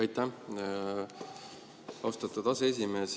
Aitäh, austatud aseesimees!